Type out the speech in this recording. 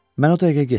Mən o dəqiqə getdim.